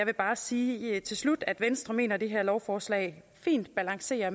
vil bare sige til slut at venstre mener at det her lovforslag fint balancerer